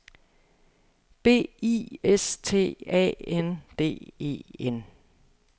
B I S T A N D E N